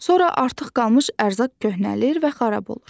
Sonra artıq qalmış ərzaq köhnəlir və xarab olur.